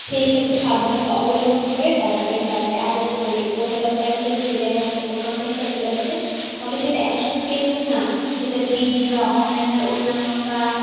সেই ক্ষেত্রে সাবধানতা অবলম্বন করে তারপরে চাকরি আবেদন করবেন. কোন company তে যদি দেখেন আপনার কোন company র circular দিছে তাহলে সেটা শুধু Facebook না. সেটা TV বাহঃ online অন্যান্য বাহঃ